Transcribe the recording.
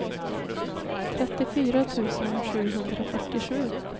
trettiofyra tusen sjuhundrafyrtiosju